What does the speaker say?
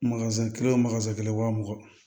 kelen wo kelen wa mugan